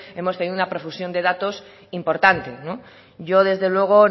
hemos tenido una profusión de datos importante yo desde luego